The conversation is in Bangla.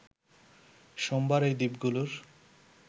সোমবার এই দ্বীপগুলোর